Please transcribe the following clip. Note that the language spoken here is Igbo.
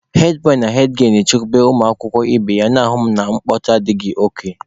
hedbọị na hedgielụ na-achịkọba ụmụ akwụkwọ ibe ha, na-ahụ na mkpọtụ akaghị nkụ.